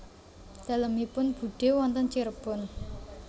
Dalemipun budhe wonten Cirebon